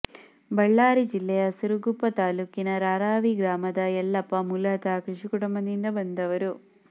ಬಳ್ಳಾರಿ ಜಿಲ್ಲೆಯ ಸಿರುಗುಪ್ಪ ತಾಲ್ಲೂಕಿನ ರಾರಾವಿ ಗ್ರಾಮದ ಯಲ್ಲಪ್ಪಮೂಲತಃ ಕೃಷಿಕುಟುಂಬದಿಂದ ಬಂದವರು